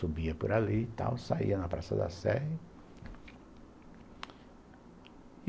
Subia por ali e tal, saía na Praça da Sé.